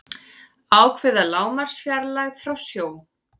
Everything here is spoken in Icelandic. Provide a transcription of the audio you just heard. ákveða lágmarksfjarlægð frá sjó